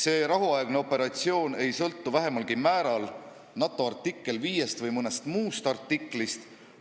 See rahuaegne operatsioon ei sõltu vähemalgi määral NATO lepingu artikkel 5-st või mõnest muust artiklist.